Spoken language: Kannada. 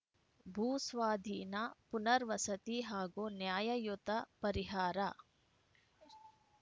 ಭೂಸ್ವಾಧೀನ ಪುನರ್ ವಸತಿ ಹಾಗೂ ನ್ಯಾಯಯುತ ಪರಿಹಾರ